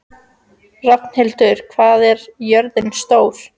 Rafnhildur, hvað er jörðin stór?